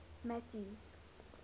mathews